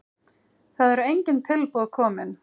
Það eru engin tilboð kominn.